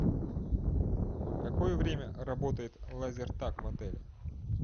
в какое время работает лазертаг в отеле